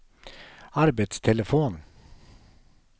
arbetstelefon